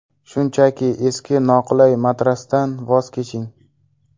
Shunchaki eski noqulay matrasdan voz keching!